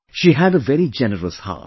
She had a very generous heart